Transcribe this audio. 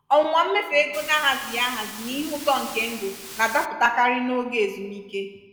ọnwụnwa mmefu ego na-ahazighi ahazi n'ihe ụtọ nke ndụ na-adapụtakarị n'oge ezumike.